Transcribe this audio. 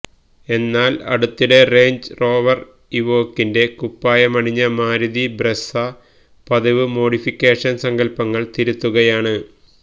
എന്നാല് അടുത്തിടെ Range Rover ഇവോക്കിന്റെ കുപ്പായമണിഞ്ഞ മാരുതി ബ്രെസ്സ പതിവു മോഡിഫിക്കേഷന് സങ്കല്പങ്ങള് തിരുത്തുകയാണ്